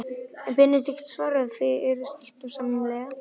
Benedikt svaraði fáu, en við skildum sæmilega.